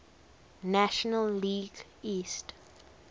national league east